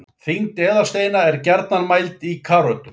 Þyngd eðalsteina er gjarnan mæld í karötum.